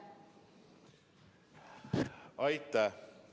Aitäh!